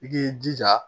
I k'i jija